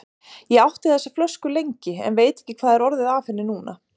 Ég átti þessa flösku lengi, en veit ekki hvað er orðið af henni núna.